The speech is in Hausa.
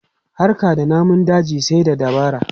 Harka da namun daji sai da dabara.